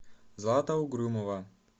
злата угрюмова